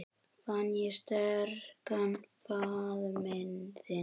Fann ég sterkan faðminn þinn.